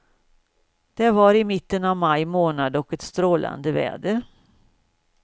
Det var i mitten av maj månad och ett strålande väder.